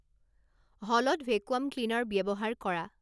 হলত vacuum cleaner ব্যৱহাৰ কৰা